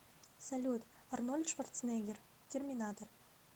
салют арнольд шварценеггер терминатор